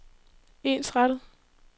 ensrettet